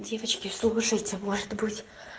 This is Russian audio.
девочки слушайте может быть